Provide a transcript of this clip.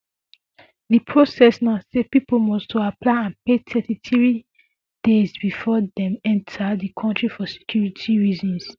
di process na say pipo must to apply and pay thirty three days bifor dem enta di kontri for security reasons